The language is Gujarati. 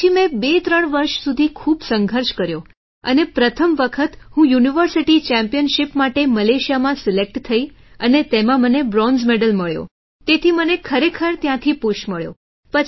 પછી મેં 23 વર્ષ સુધી ખૂબ સંઘર્ષ કર્યો અને પ્રથમ વખત હું યુનિવર્સિટી ચેમ્પિયનશિપ માટે મલેશિયામાં સિલેક્ટ થઇ અને તેમાં મને બ્રોન્ઝ મેડલ મળ્યો તેથી મને ખરેખર ત્યાંથી પુષ મળ્યો